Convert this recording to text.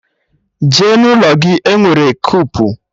Jee n'ụlọ gị! Enwere kupu.